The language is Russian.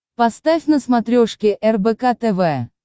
поставь на смотрешке рбк тв